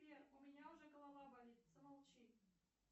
сбер у меня уже голова болит замолчи